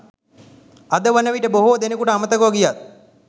අද වනවිට බොහෝ දෙනකුට අමතකව ගියත්